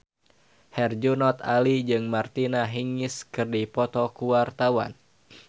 Herjunot Ali jeung Martina Hingis keur dipoto ku wartawan